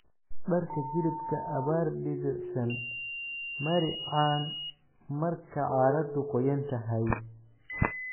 "Dharka jilibka awar dibic shan, mari CAN marka carradu qoyan tahay.